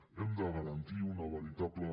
hem de garantir una veritable